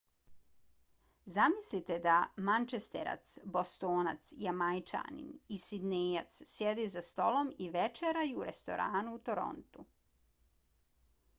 zamislite da mančesterac bostonac jamajčanin i sidnejac sjede za stolom i večeraju u restoranu u torontu